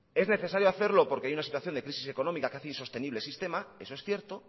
es necesario hacerlo porque hay una situación de crisis económica que hace insostenible el sistema eso es cierto